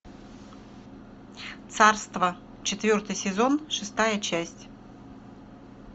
царство четвертый сезон шестая часть